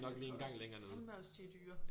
Jeg tror fandeme også de er dyre